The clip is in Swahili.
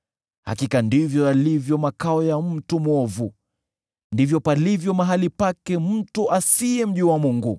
Hakika ndivyo yalivyo makao ya mtu mwovu; ndivyo palivyo mahali pake mtu asiyemjua Mungu.”